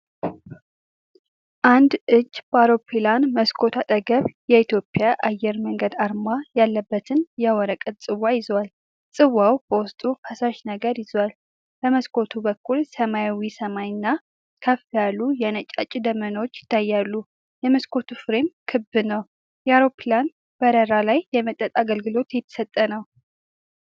አንድ እጅ በአውሮፕላን መስኮት አጠገብ የኢትዮጵያ አየር መንገድ አርማ ያለበትን የወረቀት ጽዋ ይዟል። ጽዋው በውስጡ ፈሳሽ ነገር ይዟል። በመስኮቱ በኩል ሰማያዊ ሰማይና ከፍ ያሉ የነጫጭ ደመናዎች ይታያሉ። የመስኮቱ ፍሬም ክብ ነው። የአውሮፕላን በረራ ላይ የመጠጥ አገልግሎት እየተሰጠ ነው።